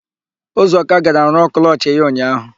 Ụzọka gara rụọ klọchị ya ụnyaahụ.